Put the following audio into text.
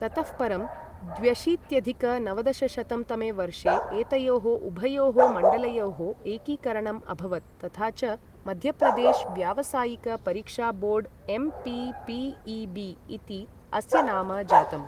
ततः परं द्व्यशीत्यधिक नवदशशतं तमे वर्षे एतयोः उभयोः मण्डलयोः एकीकरणम् अभवत् तथा च मध्यप्रदेश व्यावसायिक परीक्षा बोर्ड् एम्.पी.पी.ई.बी इति अस्य नाम जातम्।